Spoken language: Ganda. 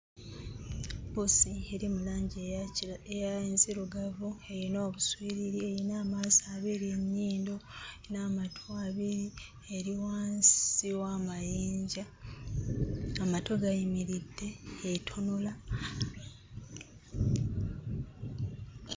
Ppusi eri mu langi eya kira eya enzirugavu eyina obuswiriri eyina amaaso abiri, ennyindo n'amatu abiri, eri wansi w'amayinja. Amatu gayimiridde etunula.